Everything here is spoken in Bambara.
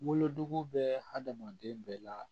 Wolonugu bɛ hadamaden bɛɛ la